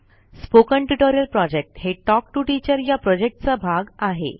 spoken tutorial project हे talk to teacher या प्रॉजेक्टचा भाग आहे